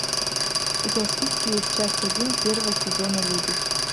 у тебя в списке есть часть один первого сезона люди